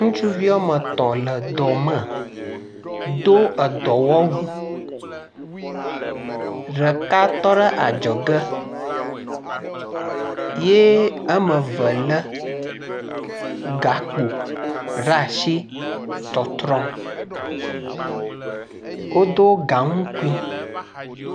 ŋutsuvi wɔmetɔ̃ le dɔme dó dɔwɔwu ɖeka tɔ́ɖe adzɔge ye wɔmeve le gakpo ɖeasi tɔtrɔm, woɖó gaŋukui